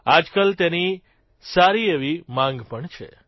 આજકાલ તેની સારી એવી માંગ પણ છે